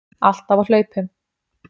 Alltaf á hlaupum.